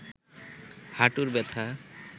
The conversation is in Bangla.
হাটুর ব্যাথা